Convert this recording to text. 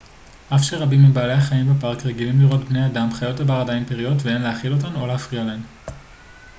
אף שרבים מבעלי החיים בפארק רגילים לראות בני אדם חיות הבר עדיין פראיות ואין להאכיל אותן או להפריע להן